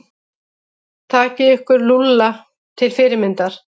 Takið ykkur Lúlla til fyrirmyndar.